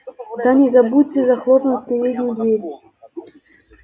да не забудьте захлопнуть переднюю дверь